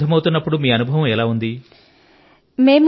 పరీక్షల కు సిద్ధమవుతున్నప్పుడు మీ అనుభవం ఎలా ఉంది